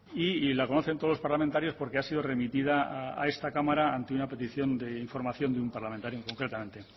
y la conocen todos los parlamentarios porque ha sido remitida a esta cámara ante una petición de información de un parlamentario concretamente